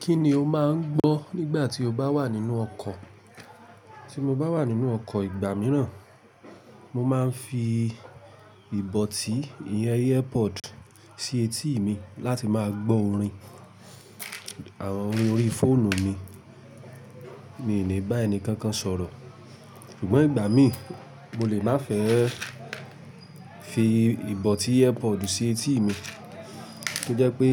Kí ni o máa ń gbọ́ nígbà tí o bá wà nínú ọkọ̀? Tí mo bá wà nínú ọkọ̀ ìgbà mìíràn, mo máa ń fi ìbọtí ìyẹn earpod sí etí ì mi láti máa gbọ́ orin àwọn orin orí fóònù mi. Mi ò ní bá ẹni kankan sọ̀rọ̀. Ṣùgbọ́n ìgbà mí, mo lè má fẹ́ fi ìbọtí earpod sí etí mi. Ko je pé